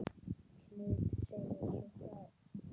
Knud segir svo frá